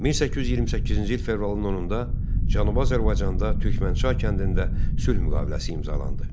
1828-ci il fevralın 10-da Cənubi Azərbaycanda Türkmənçay kəndində sülh müqaviləsi imzalandı.